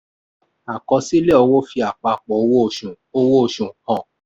àkọsílẹ̀ owó fi àpapọ̀ owó osù owó osù hàn.